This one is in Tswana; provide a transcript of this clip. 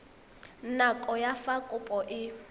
nako ya fa kopo e